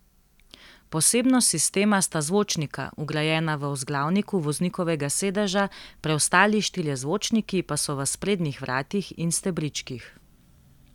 Posebnost sistema sta zvočnika, vgrajena v vzglavniku voznikovega sedeža, preostali štirje zvočniki pa so v sprednjih vratih in stebričkih.